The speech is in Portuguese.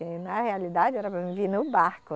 Que na realidade era para mim vir no barco.